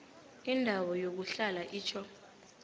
indawo yokuhlala itjho